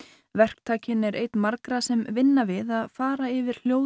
verktakinn er einn margra sem vinna við að fara yfir